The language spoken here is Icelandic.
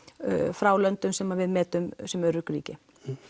frá löndum sem við metum sem örugg ríki